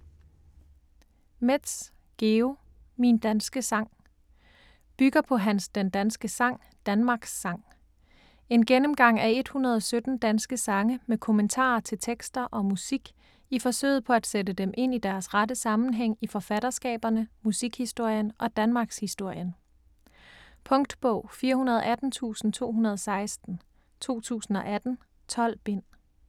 Metz, Georg: Min danske sang Bygger på hans Den danske sang, Danmarks sang. En gennemgang af 117 danske sange med kommentarer til tekster og musik i forsøget på at sætte dem ind i deres rette sammenhæng i forfatterskaberne, musikhistorien og danmarkshistorien. Punktbog 418216 2018. 12 bind.